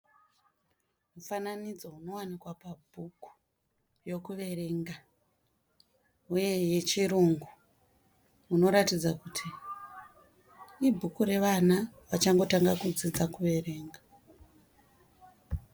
Mufananidzo unowanikwa pabhuku yokuverenga uye yechirungu unoratidza kuti ibhuku revana vachangotanga kudzidza kuverenga.